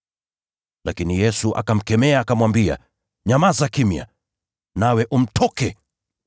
Lakini Yesu akamkemea, akamwambia, “Nyamaza kimya! Nawe umtoke!”